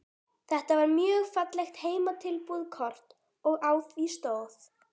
Þetta var mjög fallegt heimatilbúið kort og á því stóð